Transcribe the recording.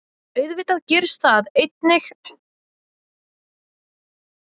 Auðvitað gerist það einnig af og til.